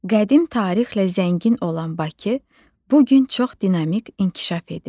Qədim tarixlə zəngin olan Bakı bu gün çox dinamik inkişaf edir.